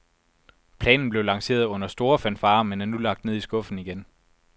Planen blev lanceret under store fanfarer, men er nu lagt ned i skuffen igen.